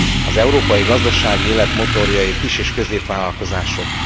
Az európai gazdasági élet motorjai a kis és középvállalkozások.